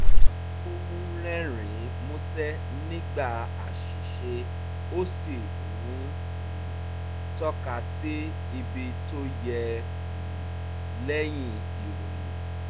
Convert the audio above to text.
ó ń rerin músẹ́ nígbà àṣìṣe ó sì ń um tọ́ka sí ibi tó yẹ um lẹ́yìn ìròyìn